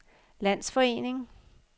landsforening